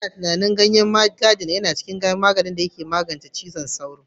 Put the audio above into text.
Ana tunanin ganyen gadina yana da kaddarorin da ke magance cutar zazzabin cizon sauro